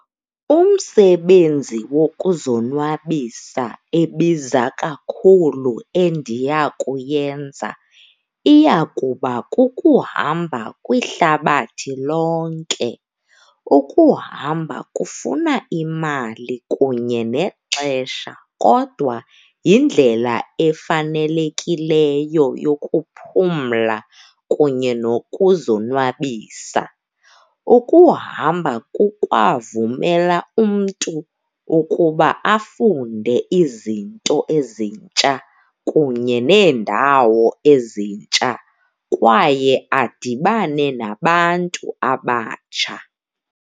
Umsebenzi wokuzonwabisa ebiza kakhulu endiya kuyenza iyakuba kukuhamba kwihlabathi lonke. Ukuhamba kufuna imali kunye nexesha, kodwa yindlela efanelekileyo yokuphumla kunye nokuzonwabisa. Ukuhamba kukwavumela umntu ukuba afunde izinto ezintsha kunye neendawo ezintsha, kwaye adibane nabantu abatsha.